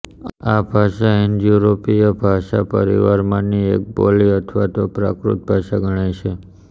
આ ભાષા હિન્દયૂરોપીય ભાષાપરિવારમાંની એક બોલી અથવા પ્રાકૃત ભાષા ગણાય છે